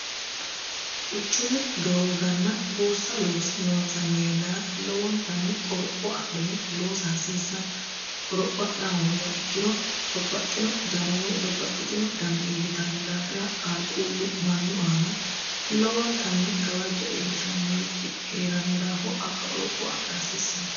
quchumu doogganna buussa loonsanni yannara lowontanni qoropho adhine loosa hasiissanno qoropho adha hoongeha ikkiro babbaxxino dano woy babbaxxitino dano iillitanno daafira qaaquullu mannu aana lowontanni gawajjo iillishannorichi hee'ranno daafo aqqa qoropho adha hasiissanno